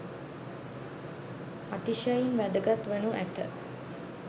අතිශයින් වැදගත් වනු ඇත